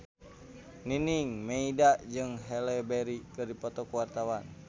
Nining Meida jeung Halle Berry keur dipoto ku wartawan